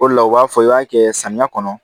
O de la u b'a fɔ i b'a kɛ samiya kɔnɔ